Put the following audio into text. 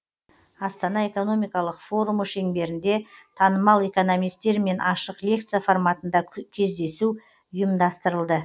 астана экономикалық форумы шеңберінде танымал экономистермен ашық лекция форматында кездесу ұйымастырылды